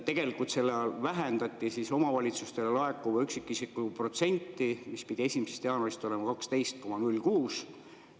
Tegelikult sellega vähendati omavalitsustele laekuvat üksikisiku protsenti, mis pidi 1. jaanuarist olema 12,06%.